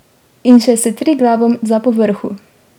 In še s Triglavom za povrhu!